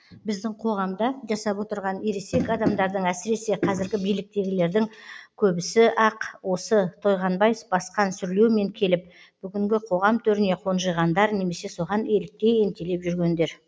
біздің қоғамда жасап отырған ересек адамдардың әсіресе қазіргі биліктегілердің көбісі ақ осы тойғанбай басқан сүрлеумен келіп бүгінгі қоғам төріне қонжиғандар немесе соған еліктей ентелеп жүргендер